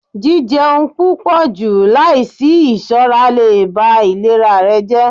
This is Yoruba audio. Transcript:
jijẹun pupọju laisi iṣọra le ba ilera rẹ jẹ.